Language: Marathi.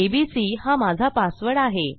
एबीसी हा माझा पासवर्ड आहे